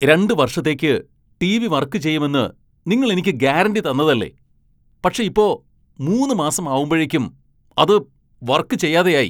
രണ്ട് വർഷത്തേക്ക് TV. Work ചെയ്യുമെന്ന് നിങ്ങൾ എനിക്ക് ഗ്യാരന്റി തന്നതല്ലേ പക്ഷെ ഇപ്പോ മൂന്ന് മാസം ആവുമ്പഴേക്കും അത് വർക്ക് ചെയ്യാതെയായി.